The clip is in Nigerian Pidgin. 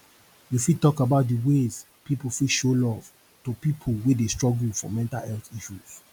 you fit talk about dey ways people fit show love to people wey dey struggle for mental health issues